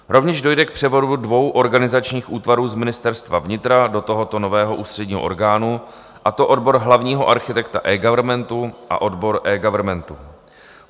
Rovněž dojde k převodu dvou organizačních útvarů z Ministerstva vnitra do tohoto nového ústředního orgánu, a to odbor hlavního architekta eGovernmentu a odbor eGovernmentu.